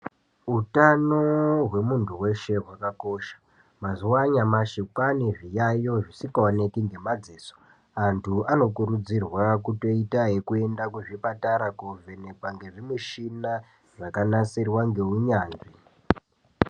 Utano hwemuntu weshe hwakakosha. Mazuwa anyamashi kwaane zviyaiyo zvisikaoneki ngemadziso. Antu anokurudzirwa ,kutoita yekuenda kuzvipatara , koovhenekwa ngezvimishina zvakanasirwa ngeunyanzvi.